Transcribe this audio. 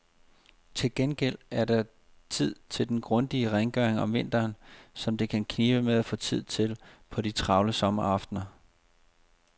Til gengæld er der tid til den grundige rengøring om vinteren, som det kan knibe med at få tid til på de travle sommeraftener.